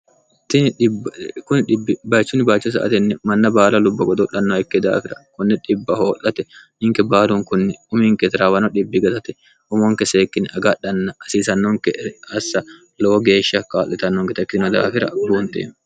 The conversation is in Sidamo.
tini kbcn bacho sa atenni manna baala lubba godoulhanno ikke daafira kunne dhibb hoo'late ninke baalun kunni uminke tirawano dhibbi gatate umonke seekkinni agadhanna hasiisannonke assa lowo geeshsha kaa'litannon getekkitino daafira buunte